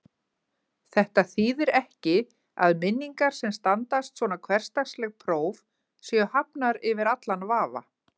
Þetta þýðir ekki að minningar sem standast svona hversdagsleg próf séu hafnar yfir allan vafa.